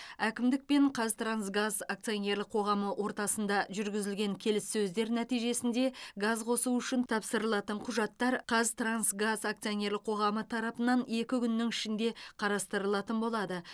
әкімдік пен қазтрансгаз акционерлік қоғамы ортасында жүргізілген келіссөздер нәтижесінде газ қосу үшін тапсырылатын құжаттар қазтрансгаз акционерлік қоғамы тарапынан екі күннің ішінде қарастырылатын болады